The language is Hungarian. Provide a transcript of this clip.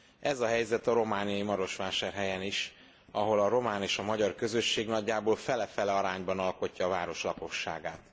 Ez a helyzet a romániai Marosvásárhelyen is, ahol a román és a magyar közösség nagyjából fele fele arányban alkotja a város lakosságát.